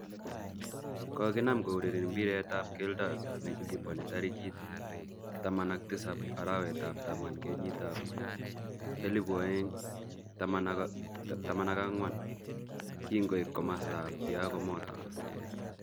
Kokinam koureren mbiret ab keldo nekiliponi tarikit 17 arawet ab taman kenyit ab 2014 kingoip komosta ab Thiago Motta.